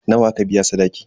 Nawa aka biya sadaki?